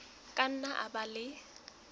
ka nna a ba le